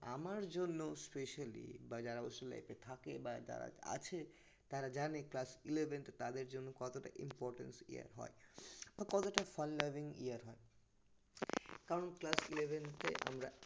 আমার জন্য specially বা যারা hostel life এ থাকে বা যারা আছে তারা জানে class eleventh তাদের জন্য কতটা importance year হয় বা কতটা fun loving year হয় কারণ class eleventh এ আমরা